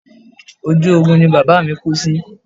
Ojú ogun ni bàbá mi kú sí